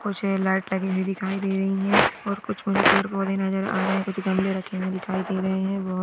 कुछ ये लाइट लगी हुई दिखाई दे रही है और कुछ नजर आ रहे कुछ गमले रखे हुए दिखाई दे रहे है